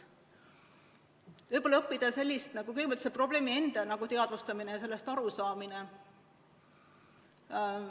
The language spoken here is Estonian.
Võib-olla õppida kõigepealt selle probleemi teadvustamist ja sellest arusaamist.